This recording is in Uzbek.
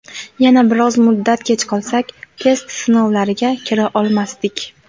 Yana biroz muddat kech qolsak, test sinovlariga kira olmasdik.